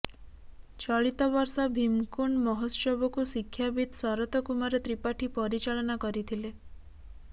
ଚଳିତ ବର୍ଷ ଭୀମକୁଣ୍ଡ ମହୋତ୍ସବକୁ ଶିକ୍ଷାବିତ ଶରତକୁମାର ତ୍ରିପାଠୀ ପରିଚାଳନା କରିଥିଲେ